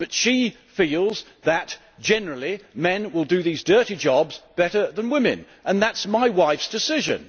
But she feels that, generally, men will do these dirty jobs better than women, and that is my wife's decision.